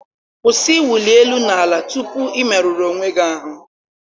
Kwụsị ịwụli elu na ala tupu ị merụrụ onwe gị ahụ.